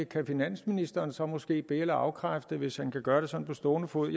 kan finansministeren så måske be eller afkræfte hvis han kan gøre det sådan på stående fod